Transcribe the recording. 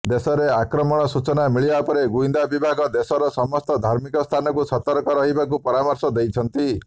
ଦେଶରେ ଆକ୍ରମଣର ସୂଚନା ମିଳିବାପରେ ଗୁଇନ୍ଦା ବିଭାଗ ଦେଶର ସମସ୍ତ ଧାର୍ମିକ ସ୍ଥାନକୁ ସତର୍କ ରହିବାକୁ ପରାମର୍ଶ ଦେଇଛନ୍ତି